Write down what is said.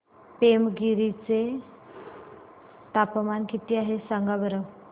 पेमगिरी चे तापमान किती आहे सांगा बरं